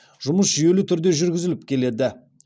жұмыс жүйелі түрде жүргізіліп келеді